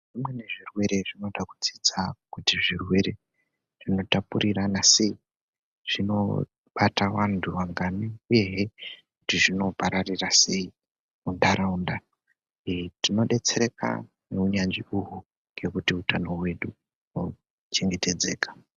Zvimweni zvirwere zvinoda kudzidza kuti zvirwere zvinotapurirana sei, zvinobata vanthu mangani uyehe kuti zvinopararira sei muntharaunda ee tinodetsereka ngeunyanzvi uhu ngekuthi uthano hwedu hochengetedzeka.